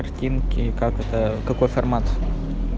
картинки как это какой формат